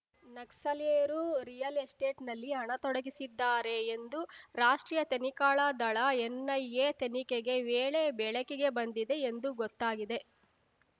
ನಕ್ಸಲೀಯರು real ಎಸ್ಟೇಟ್‌ನಲ್ಲಿ ಹಣ ತೊಡಗಿಸಿದ್ದಾರೆ ಎಂದು ರಾಷ್ಟ್ರೀಯ ತನಿಳಾ ದಳ ಎನ್‌ಐಎ ತನಿಖೆಗೆ ವೇಳೆ ಬೆಳಕಿಗೆ ಬಂದಿದೆ ಎಂದು ಗೊತ್ತಾಗಿದೆ